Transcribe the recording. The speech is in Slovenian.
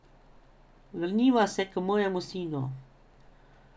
Vrniva se k mojemu sinu.